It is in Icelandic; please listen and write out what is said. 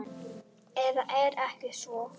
Eða er ekki svo?